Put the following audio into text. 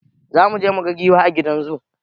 Zamuje muga giwa a gidan zu